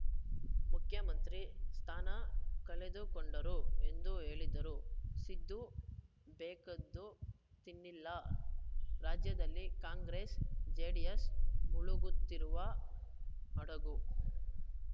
ಮುಖ್ಯಮಂತ್ರಿ ಸ್ಥಾನ ಕಳೆದುಕೊಂಡರು ಎಂದು ಹೇಳಿದರು ಸಿದ್ದು ಬೇಕಾದ್ದು ತಿನ್ನಲ್ಲಿ ರಾಜ್ಯದಲ್ಲಿ ಕಾಂಗ್ರೆಸ್‌ಜೆಡಿಎಸ್‌ ಮುಳುಗುತ್ತಿರುವ ಹಡಗು